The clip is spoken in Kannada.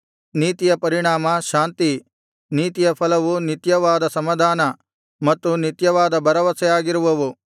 ನೀತಿಯ ಪರಿಣಾಮ ಶಾಂತಿ ನೀತಿಯ ಫಲವು ನಿತ್ಯವಾದ ಸಮಾಧಾನ ಮತ್ತು ನಿತ್ಯವಾದ ಭರವಸೆ ಆಗಿರುವವು